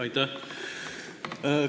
Aitäh!